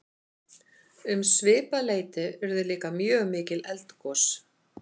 um svipað leyti urðu líka mjög mikil eldgos